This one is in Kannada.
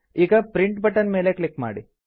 ಈಗ ಪ್ರಿಂಟ್ ಬಟನ್ ಮೇಲೆ ಕ್ಲಿಕ್ ಮಾಡಿ